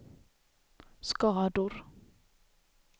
skador